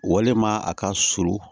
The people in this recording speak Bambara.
Walima a ka surun